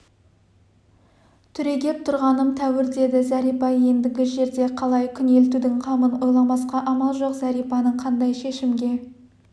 түрегеп тұрғаным тәуір деді зәрипа ендігі жерде қалай күнелтудің қамын ойламасқа амал жоқ зәрипаның қандай шешімге